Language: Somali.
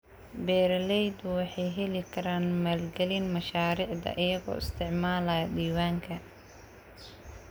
Beeraleydu waxay heli karaan maalgelin mashaariicda iyagoo isticmaalaya diiwaanka.